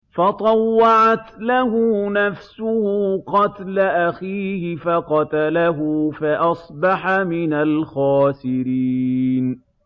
فَطَوَّعَتْ لَهُ نَفْسُهُ قَتْلَ أَخِيهِ فَقَتَلَهُ فَأَصْبَحَ مِنَ الْخَاسِرِينَ